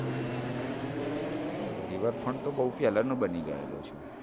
તો rever front તો બૌ પેલાનો બની ગયો છે.